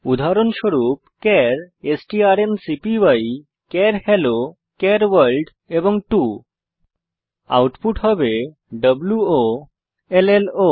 উদাহরণস্বরূপ চার strncpyচার hello char world 2 output হবে ওয়োলো